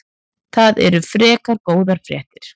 Það eru frekar góðar fréttir.